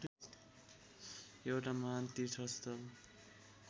एउटा महान् तीर्थस्थल